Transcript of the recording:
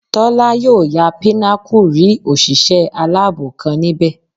Tọ́lá yóò ya Pinnacle rí òṣìṣẹ́ aláàbò kan níbẹ̀